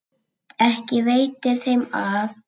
Ekki veitir þeim af.